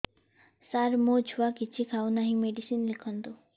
ସାର ମୋ ଛୁଆ କିଛି ଖାଉ ନାହିଁ ମେଡିସିନ ଲେଖନ୍ତୁ